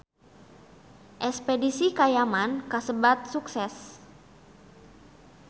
Espedisi ka Yaman kasebat sukses